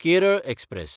Kerala express